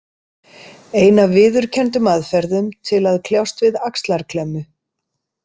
Ein af viðurkenndum aðferðum til að kljást við axlarklemmu.